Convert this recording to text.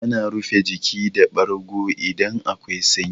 Ana rufe jiki da bargo idan akwai sanyi.